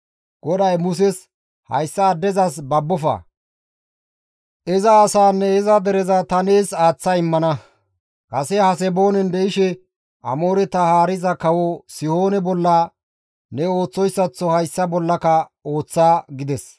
GODAY Muses, «Hayssa addezas babbofa! Iza asaanne iza dereza ta nees aaththa immana; kase Haseboonen de7ishe Amooreta haariza kawo Sihoone bolla ne ooththoyssaththo hayssa bollaka ooththa» gides.